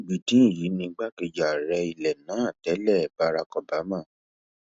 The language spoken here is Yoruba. bídín yìí ni igbákejì ààrẹ ilẹ náà tẹlé bárák obama